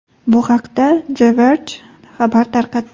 Bu haqda The Verge xabar tarqatdi .